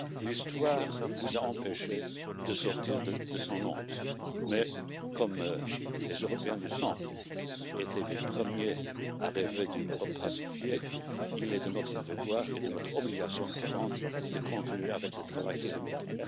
L'histoire vous a empêchés de sortir de son ombre, mais comme les Européens du centre étaient les premiers à rêver d'une Europe pacifiée, il est de notre devoir et de notre obligation ardente de continuer le travail qui est le nôtre.